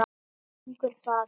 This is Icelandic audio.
Hvernig gengur það?